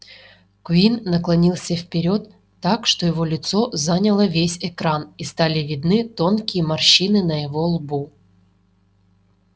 куинн наклонился вперёд так что его лицо заняло весь экран и стали видны тонкие морщины на его лбу